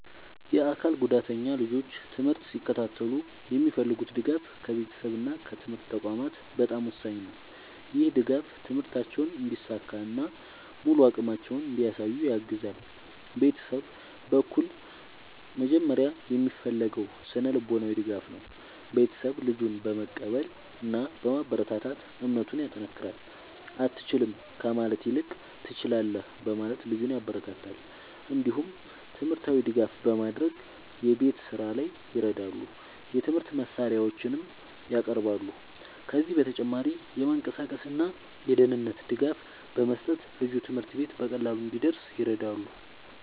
የአካል ጉዳተኛ ልጆች ትምህርት ሲከታተሉ የሚፈልጉት ድጋፍ ከቤተሰብ እና ከትምህርት ተቋማት በጣም ወሳኝ ነው። ይህ ድጋፍ ትምህርታቸውን እንዲሳካ እና ሙሉ አቅማቸውን እንዲያሳዩ ያግዛል። ቤተሰብ በኩል መጀመሪያ የሚፈለገው ስነ-ልቦናዊ ድጋፍ ነው። ቤተሰብ ልጁን በመቀበል እና በማበረታታት እምነቱን ያጠናክራል። “አትችልም” ከማለት ይልቅ “ትችላለህ” በማለት ልጁን ያበረታታል። እንዲሁም ትምህርታዊ ድጋፍ በማድረግ የቤት ስራ ላይ ይረዳሉ፣ የትምህርት መሳሪያዎችንም ያቀርባሉ። ከዚህ በተጨማሪ የመንቀሳቀስ እና የደህንነት ድጋፍ በመስጠት ልጁ ትምህርት ቤት በቀላሉ እንዲደርስ ይረዳሉ።